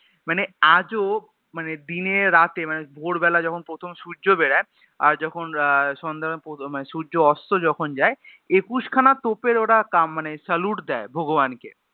মানে আজও মানে দিনে রাতে মানে ভোর বেলায় যখন প্রথম সুর্য বেরোয় আর যখন আহ সন্ধা বেলায় প্রথমে সুর্য অস্ত যখন যায় একুশ খানা তোপের ওরা কা মানে salute দেয় ভগবান কে